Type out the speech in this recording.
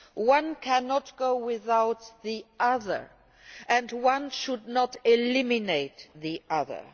One cannot advance without the other, and one should not eliminate the other.